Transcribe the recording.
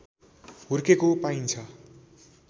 हुर्केको पाइन्छ